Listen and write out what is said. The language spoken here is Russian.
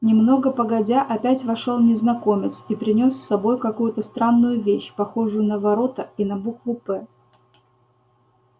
немного погодя опять вошёл незнакомец и принёс с собой какую-то странную вещь похожую на ворота и на букву п